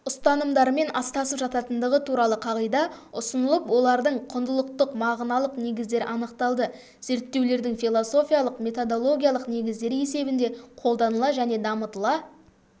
ұстанымдармен астасып жататындығы туралы қағида ұсынылып олардың құндылықтық-мағыналық негіздері анықталды зерттеулердің философиялық-методологиялық негіздері есебінде қолданыла және дамытыла